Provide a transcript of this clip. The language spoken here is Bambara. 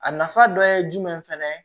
A nafa dɔ ye jumɛn fana ye